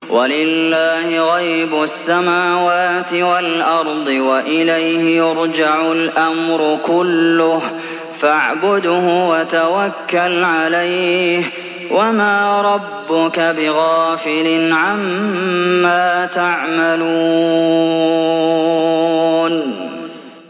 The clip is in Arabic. وَلِلَّهِ غَيْبُ السَّمَاوَاتِ وَالْأَرْضِ وَإِلَيْهِ يُرْجَعُ الْأَمْرُ كُلُّهُ فَاعْبُدْهُ وَتَوَكَّلْ عَلَيْهِ ۚ وَمَا رَبُّكَ بِغَافِلٍ عَمَّا تَعْمَلُونَ